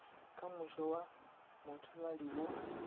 ka moše wa mothaladi wo